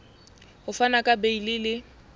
ho fana ka beile le